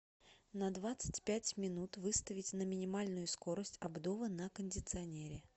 на двадцать пять минут выставить на минимальную скорость обдува на кондиционере